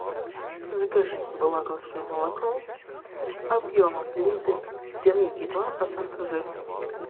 закажи вологодское молоко объемом литр три и два процента жирности